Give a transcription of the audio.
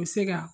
U bɛ se ka